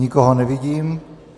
Nikoho nevidím.